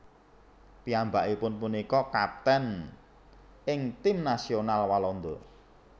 Piyambakipun punika kaptèn ing tim nasional Walanda